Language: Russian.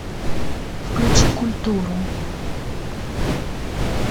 включи культуру